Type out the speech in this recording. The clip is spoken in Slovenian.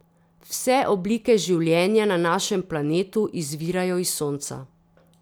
Vse oblike življenja na našem planetu izvirajo iz sonca.